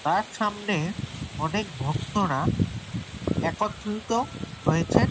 তার সামনে অনেক ভক্তরা একত্রিত হয়েছে।